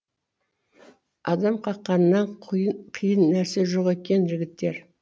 адам қаққаннан қиын нәрсе жоқ екен жігіттер